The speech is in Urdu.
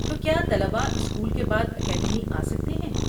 تو کیا طلبہ اسکول کے بعد اکیڈمی آ سکتے ہیں؟